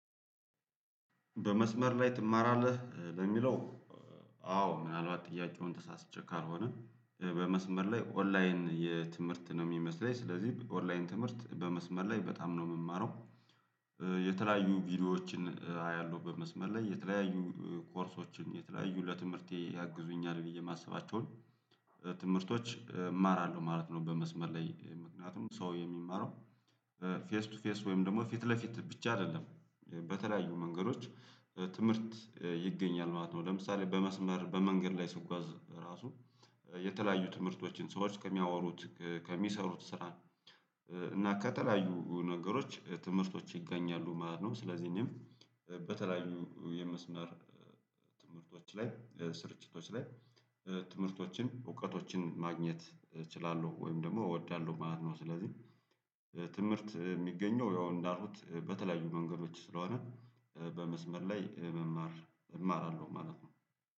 በመስመር ላይ ትማራለህ ለሚለው አዎ ምናልባት ጥያቄውን ተሳስቼ ካልሆነ በመስመር ላይ ኦንላይን የትምህርት ነው የሚመስለኝ ስለዚህ ኦንላይን ትምህርት በመስመር ላይ በጣም ነው የምማረው። የተለያዩ ቪዲዮዎችን አያለሁ በመስመር ላይ የተለያዩ ኮርሶችን የተለያዩ ለትምህርቴ ያግዙኛል ብዬ የማስባቸውን ትምህርቶች እማራለሁ ማለት ነው። በመስመር ላይ ምክንያቱም ሰው የሚማረው ፌስ ቱ ፌስ ወይም ደግሞ ፊት ለፊት ብቻ አይደለም በተለያዩ መንገዶች ትምህርት ይገኛል ማለት ነው። ለምሳሌ በመስመር በመንገድ ላይ ስጓዝ ራሱ የተለያዩ ትምህርቶችን ሰዎች ከሚያወሩት ከሚሰሩት ስራን እና ከተለያዩ ነገሮች ትምህርቶች ይገኛሉ ማለት ነው። ስለዚህ እኔም በተለያዩ የመስመር ላይ ስርጭቶች ላይ ትምህርቶችን እውቀቶችን ማግኘት እችላለሁ ወይም ደግሞ እወዳለሁ ማለት ነው። ስለዚህ ትምህርት የሚገኘው ያው እንዳሉት በተለያዩ መንገዶች ስለሆነ በመስመር ላይ መማር እማራለሁ ማለት ነው።